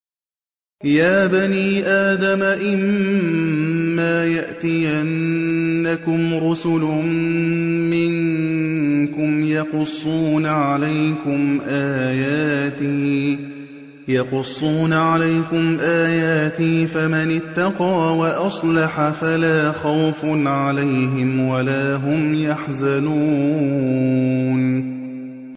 يَا بَنِي آدَمَ إِمَّا يَأْتِيَنَّكُمْ رُسُلٌ مِّنكُمْ يَقُصُّونَ عَلَيْكُمْ آيَاتِي ۙ فَمَنِ اتَّقَىٰ وَأَصْلَحَ فَلَا خَوْفٌ عَلَيْهِمْ وَلَا هُمْ يَحْزَنُونَ